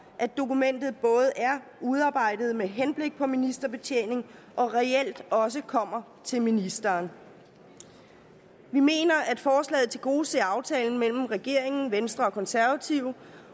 at dokumentet både er udarbejdet med henblik på ministerbetjening og reelt også kommer til ministeren vi mener at forslaget tilgodeser aftalen mellem regeringen venstre og konservative